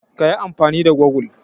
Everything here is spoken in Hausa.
Ka yi amfani da gogul.